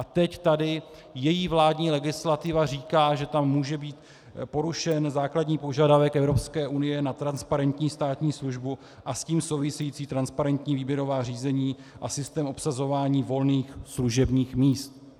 A teď tady její vládní legislativa říká, že tam může být porušen základní požadavek Evropské unie na transparentní státní službu a s tím související transparentní výběrová řízení a systém obsazování volných služebních míst.